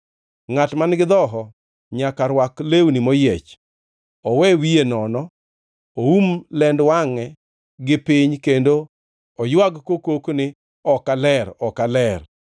“Ngʼat man-gi dhoho nyaka rwak lewni moyiech, owe wiye nono, oum lend wangʼe gi piny kendo oywag kokok ni, ‘Ok aler! Ok aler!’